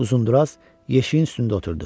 Uzunduraz yeşiyin üstündə oturdu.